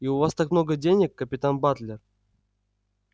и у вас так много денег капитан батлер